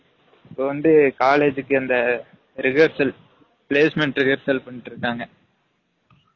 இப்ப வந்து college க்கு அந்த rehearsal , placement rehearsal பன்னிட்டு இருக்காங்க